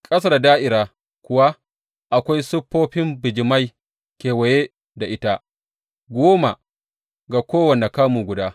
Ƙasa da da’ira kuwa, akwai siffofin bijimai kewaye da ita, goma ga kowane kamu guda.